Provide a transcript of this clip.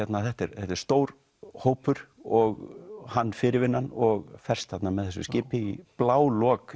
þetta er stór hópur og hann fyrirvinnan og ferst þarna með þessu skipi í blálok